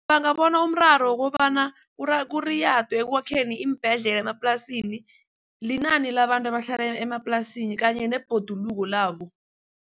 Bangabona umraro wokobana kuriyadwe ekwakheni iimbhedlela emaplasini linani labantu abahlala emaplasini kanye nebhoduluko labo.